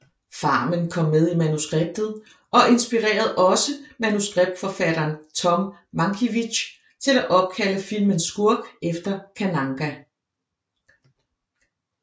Farmen kom med i manuskriptet og inspirerede også manuskriptforfatteren Tom Mankiewicz til at opkalde filmens skurk efter Kananga